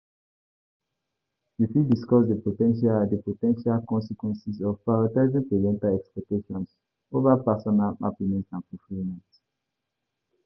discuss di pocential consequences of prioritizing parental expectations over personal happiness and fulfillment.